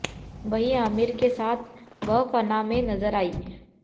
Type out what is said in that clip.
वहीं आमिर के साथ वह फना में नजर आयी